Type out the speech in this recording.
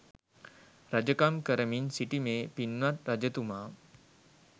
රජකම් කරමින් සිටි මේ පින්වත් රජතුමා